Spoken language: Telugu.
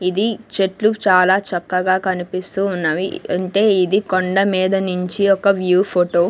ఇది చెట్లు చాలా చక్కగా కనిపిస్తూ ఉన్నవి అంటే ఇది కొండ మీద నుంచి ఒక వ్యూ ఫోటో .